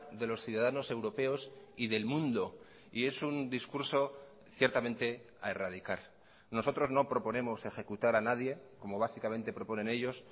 de los ciudadanos europeos y del mundo y es un discurso ciertamente a erradicar nosotros no proponemos ejecutar a nadie como básicamente proponen ellos